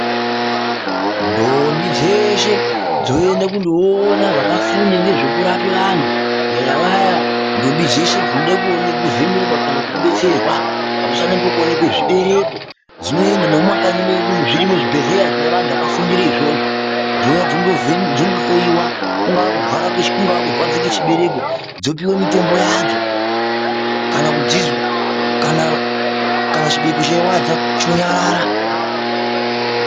Ntombi dzeshe dzoenda kundoona vakafunda ngezvekurapa vantu kunyanya vaya ntombi dzeshe dzinode kudetserwa pamusana pekuoneka zvibereko dzinoenda, nemumakanyi mwedu umo zvirimo zvibhedhlera zvine vantu vakafundire izvozvo. Dzouya dzondohloyiwa. Kungava kurwadza kwechibereko, dzopiwe mitombo yadzo. Kana chibereko cheirwadza, chonyarara.